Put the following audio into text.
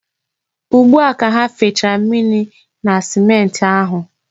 Ugbua ka ha fechara mmiri na simenti ahụ.